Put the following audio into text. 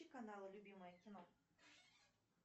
включи канал любимое кино